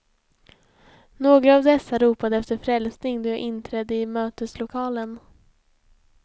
Några av dessa ropade efter frälsning då jag inträdde i möteslokalen.